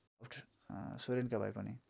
सोरेनका भाइ पनि